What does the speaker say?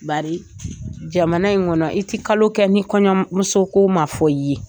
Bari jamana in kɔnɔ i tɛ kalo kɛ ni kɔɲɔmuso ko ma fɔ i ye